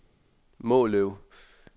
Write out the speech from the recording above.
Måløv